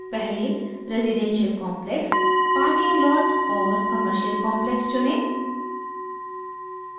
पहले residential complex parking lot और commercial complex चुनें